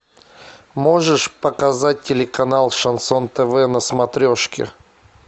можешь показать телеканал шансон тв на смотрешке